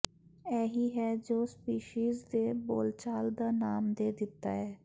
ਇਹ ਹੀ ਹੈ ਜੋ ਸਪੀਸੀਜ਼ ਦੇ ਬੋਲਚਾਲ ਦਾ ਨਾਮ ਦੇ ਦਿੱਤਾ ਹੈ